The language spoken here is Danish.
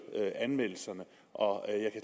anmeldelserne og